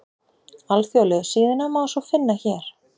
Alþjóðlegu síðuna má svo finna hér